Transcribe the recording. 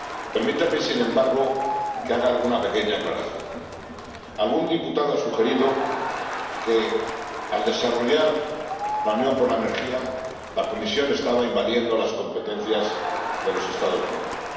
Permítanme, sin embargo, que haga alguna pequeña aclaración algún diputado ha sugerido que, al desarrollar la Unión de la Energía, la Comisión estaba invadiendo las competencias de los Estados miembros.